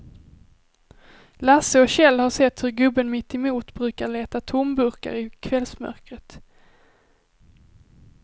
Lasse och Kjell har sett hur gubben mittemot brukar leta tomburkar i kvällsmörkret.